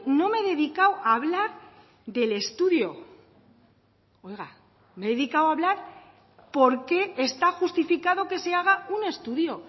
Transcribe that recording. no me he dedicado a hablar del estudio oiga me he dedicado a hablar por qué está justificado que se haga un estudio